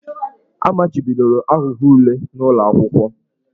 A machibidoro aghụghọ ule n'ụlọ akwụkwọ.